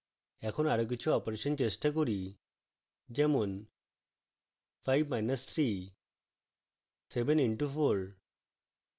এখন আরো কিছু অপারেশন চেষ্টা করি যেমন